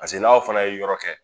Pase n'aw fana ye yɔrɔ kɛ